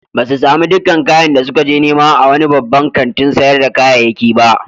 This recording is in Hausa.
Ba su sami dakkan kayan da suka je nema a wani babban kantin sayar da kayayyaki ba.